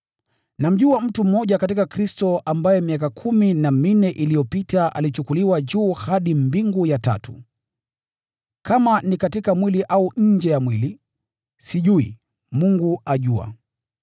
Namjua mtu mmoja katika Kristo ambaye miaka kumi na minne iliyopita alichukuliwa juu hadi mbingu ya tatu. Kama ni katika mwili au nje ya mwili, sijui, Mungu ajua.